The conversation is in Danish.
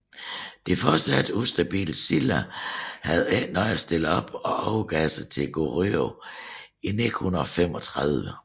Det fortsat ustabile Silla havde ikke noget at stille op og overgav sig til Goryeo i 935